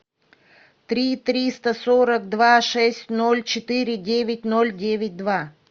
три триста сорок два шесть ноль четыре девять ноль девять два